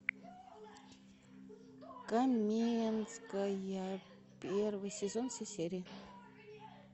каменская первый сезон все серии